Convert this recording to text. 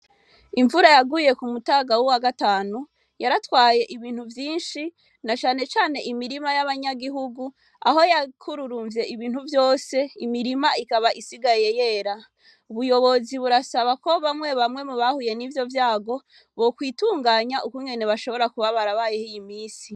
Imvura yaguye ku mutagawu wa gatanu yaratwaye ibintu vyinshi na canecane imirima y'abanyagihugu aho yakururumvye ibintu vyose imirima ikaba isigaye yera ubuyobozi burasaba ko bamwe bamwe mu bahuye n'ivyo vyago bo kwitunganya uku nyene bashobora kubabara bayehiye imisi.